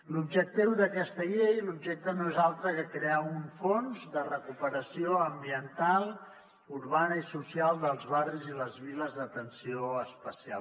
l’objectiu d’aquesta llei l’objecte no és altre que crear un fons de recuperació ambiental urbana i social dels barris i les viles d’atenció especial